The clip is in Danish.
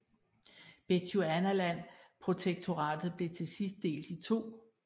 Bechuanaland Protektoratet blev til sidst delt i to